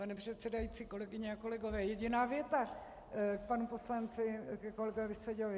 Pane předsedající, kolegyně a kolegové, jediná věta k panu poslanci, ke kolegovi Seďovi.